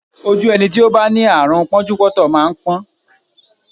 Ojú ẹni tí ó bá ní àrùn pọ́njúpọ́ntọ̀ máa ń pọ́n